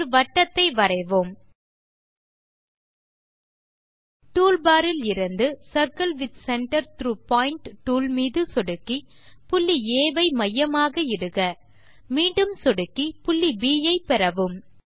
ஒரு வட்டத்தை வரைவோம் டூல் பார் இலிருந்து circle with centre through point toolமீது சொடுக்கி புள்ளி ஆ ஐ மையமாக இடுக மீண்டும் சொடுக்கி புள்ளி ப் ஐ பெறவும்